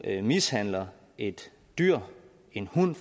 mishandler et dyr en hund